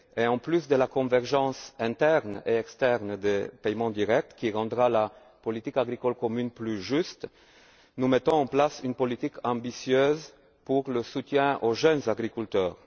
En plus de la convergence interne et externe des paiements directs, qui rendra la politique agricole commune plus juste, nous mettons en place une politique ambitieuse de soutien aux jeunes agriculteurs.